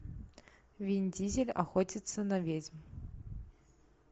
вин дизель охотится на ведьм